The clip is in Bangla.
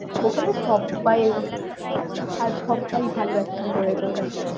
ওখানে সব্বইয়ের আর সব্বাই ভালো acting করেছে ওখানে।